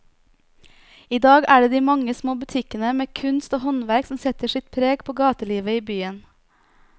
I dag er det de mange små butikkene med kunst og håndverk som setter sitt preg på gatelivet i byen.